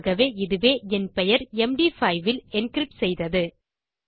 ஆகவே இதுவே என் பெயர் எம்டி5 இல் என்கிரிப்ட் செய்தது